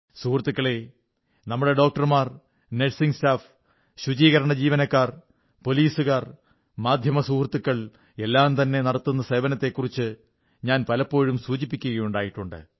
സുഹൃത്തുക്കളേ നമ്മുടെ ഡോക്ടർമാർ നേഴ്സിംഗ് സ്റ്റാഫ് ശുചീകരണ ജീവനക്കാർ പോലീസുകാർ മാധ്യമസുഹൃത്തുക്കൾ എല്ലാംതന്നെ നടത്തുന്ന സേവനത്തെക്കുറിച്ച് ഞാൻ പലപ്പോഴും സൂചിപ്പിക്കുകയുണ്ടായിട്ടുണ്ട്